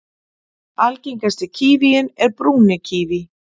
Algengasti kívíinn er brúni kíví.